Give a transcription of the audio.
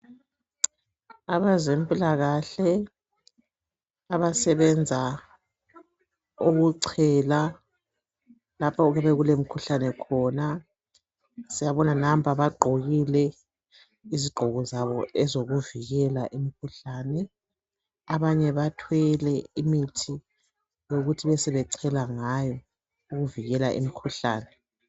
Abezempilakahle abasebenza ukuchela lapho okulemkhuhlane khona. Siyababona nampa bagqokile izigqoko zabo ezokuvikela imkhuhlane. Abanye bathwele imithi yokuthi besebechela ngayo ukuvikela imkhuhlane.